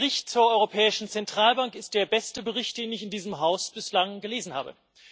Dieser Bericht zur Europäischen Zentralbank ist der beste Bericht, den ich in diesem Haus bislang gelesen habe.